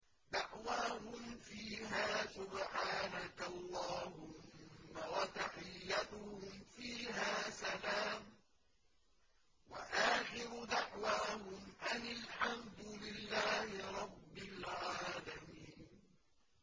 دَعْوَاهُمْ فِيهَا سُبْحَانَكَ اللَّهُمَّ وَتَحِيَّتُهُمْ فِيهَا سَلَامٌ ۚ وَآخِرُ دَعْوَاهُمْ أَنِ الْحَمْدُ لِلَّهِ رَبِّ الْعَالَمِينَ